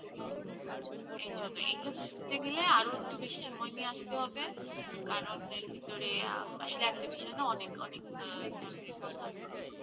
হম এই জন্যে, এইটা বুজতে গেলে আরো একটু বেসি সময় নিয়ে আসতে হবে কারণ এর ভিতরে আ একটা বিষয় না অনেক অনেক আ ধরনের কথা আসে